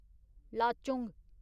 Lachung